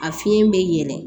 A fiɲɛ bɛ yɛlɛn